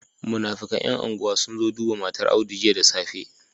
Munafikan yan unguwa sunzo duba matar audu jiya da safe